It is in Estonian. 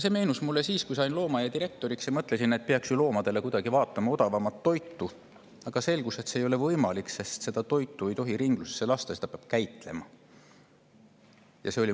See meenus mulle siis, kui sain loomaaia direktoriks ja mõtlesin, et peaks loomadele vaatama odavamat toitu, aga selgus, et see ei ole võimalik, sest sellist toitu ei tohi ringlusesse lasta, seda peab käitlema.